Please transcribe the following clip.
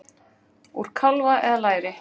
Úr kálfa eða læri!